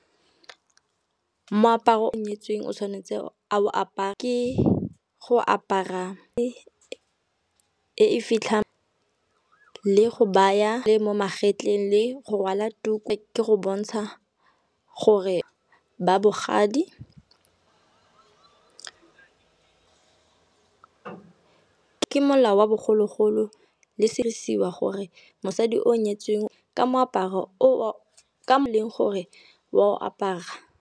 Moaparo yo nyetsweng o tshwanetse a o apare, ke go apara e e fitlhang le go baya, le mo magetleng, le go rwala tuku ke go bontsha gore ba bogadi . Ke molao wa bogologolo le sedisiwa gore mosadi o nyetsweng ka moaparo o e leng gore wa o apara.